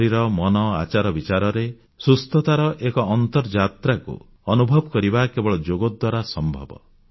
ଶରୀର ମନ ଆଚାରବିଚାରରେ ସୁସ୍ଥତାର ଏକ ଅର୍ନ୍ତଯାତ୍ରାକୁ ଅନୁଭବ କରିବା କେବଳ ଯୋଗ ଦ୍ୱାରା ସମ୍ଭବ